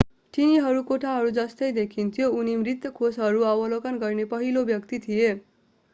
तिनीहरू कोठाहरू जस्तै देखिन्थ्यो उनी मृत कोषहरू अवलोकन गर्ने पहिलो व्यक्ति थिए